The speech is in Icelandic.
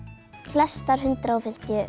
flestar hundrað og fimmtíu